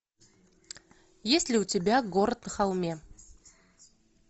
есть ли у тебя город на холме